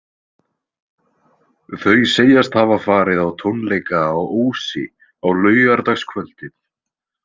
Þau segjast hafa farið á tónleika á Ósi á laugardagskvöldið.